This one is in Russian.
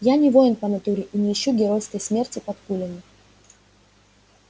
я не воин по натуре и не ищу геройской смерти под пулями